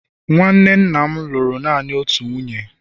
nwanne nna m lụrụ naanị otu nwunye